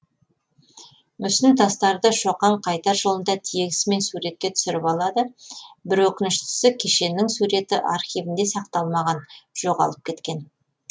мүсін тастарды шоқан қайтар жолында тегісімен суретке түсіріп алады бір өкініштісі кешеннің суреті архивінде сақталмаған жоғалып кеткен